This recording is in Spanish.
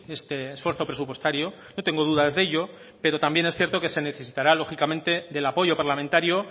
este esfuerzo presupuestario no tengo dudas de ello pero también es cierto que se necesitará lógicamente del apoyo parlamentario